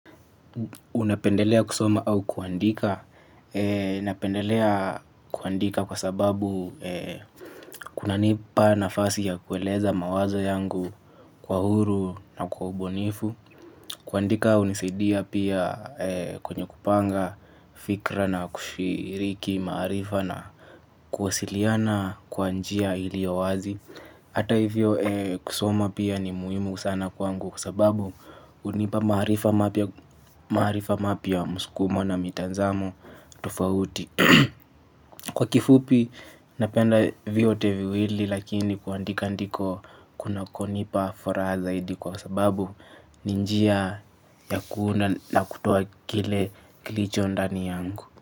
Unapendelea kusoma au kuandika. Ninapendelea kuandika kwa sababu kunanipa nafasi ya kueleza mawazo yangu kwa uhuru na kwa ubunifu. Kuandika unisaidia pia kwenye kupanga fikra na kushiriki maarifa na kuwasiliana kwa njia ilio wazi. Ata hivyo kusoma pia ni muhimu sana kwangu kwa sababu unipa maarifa mapya maarifa mapya muskumo na mitanzamo tofauti. Kwa kifupi, napenda vyote viwili lakini kuandika ndiko kunakonipa furaha zaidi kwa sababu ni njia ya kuunda na kutoa kile kilicho ndani yangu.